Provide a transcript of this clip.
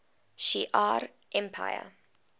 shi ar empire